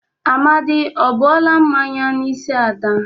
Amadị o buola mmanya n'isi Ada?